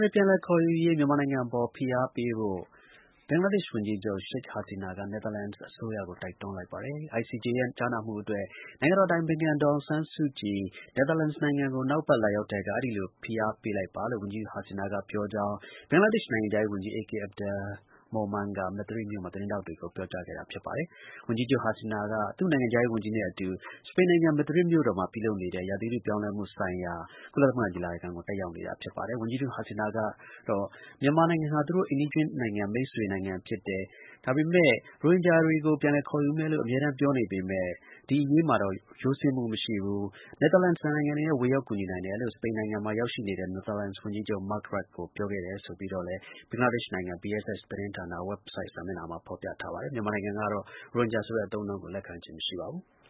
ပြန်လည်ခေါ်ယူရေး မြန်မာနိုင်ငံအပေါ် ဖိအားပေးဖို့ ဘင်္ဂလားဒေ့ရှ် ဝန်ကြီးချုပ် Sheikh Hasina က နယ်သာလန်အစိုးရကို တိုက်တွန်းလိုက်ပါတယ်။ ICJ ရဲ့ ကြားနာမှုအတွက် နိုင်ငံတော်အတိုင်ပင်ခံ ဒေါ်အောင်ဆန်းစုကြည် နယ်သာလန်နိုင်ငံကို နောက်အပတ် လာရောက်တဲ့အခါ အဲဒီလို ဖိအားပေးလိုက်ပါလို့ ဘင်္ဂလားဒေ့ရှ် ဝန်ကြီးချုပ် Sheikh Hasina ကပြောကြောင်း ဘင်္ဂလားဒေ့ရှ် နိုင်ငံခြားရေးဝန်ကြီး AK Abdul Momen က သတင်းထောက် တွေကို ပြောကြားခဲ့တာဖြစ်ပါတယ်။ ဝန်ကြီးချုပ် Sheikh Hasina က သူ့နိုင်ငံခြားရေး ဝန်ကြီးနဲ့ အတူ စပိန်နိုင်ငံ Madrid မြို့တော်မှာ ပြုလုပ်နေတဲ့ ရာသီဥတုပြောင်းလဲမှုဆိုင်ရာ ကုလသမဂ ညီလာခံကို တက်ရောက်နေတာဖြစ်ပါတယ်။ ဝန်ကြီးချုပ် Sheikh Hasina က မြန်မာနိုင်ငံဟာ သူတို့ အိမ်နီးချင်းနိုင်ငံ မိတ်ဆွေနိုင်ငံဖြစ်တယ်၊ ဒါပေမယ့် ရိုဟင်ဂျာတွေကို ပြန်လည်ခေါ်ယူမယ်လို့ အမြဲပြောနေပေမယ့် ဒီအရေးမှာတော့ ရိုးစင်းမှုမရှိဘူး၊ နယ်သာလန် နိုင်ငံလည်း ဝင်ရောက်ကူညီနိုင်တယ်လို့ စပိတ်နိုင်ငံမှာ ရောက်နေတဲ့ နယ်သာလန်ဝန်ကြီးချုပ် Mark Rutte ကိုပြောခဲ့တယ်ဆိုပြီးတော့ ဘင်္ဂလားဒေ့ရှ်နိုင်ငံ BSS သတင်းဌာန Website စာမျက်နှာမှာ ဖော်ပြထားပါတယ်။ မြန်မာနိုင်ငံကတော့ ရိုဟင်ဂျာဆိုတဲ့ အသုံးအနှုန်းကို လက်ခံခြင်းမရှိပါဘူး။